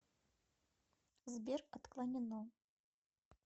сбер отклонено